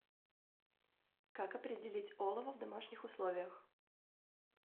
как определить олово в домашних условиях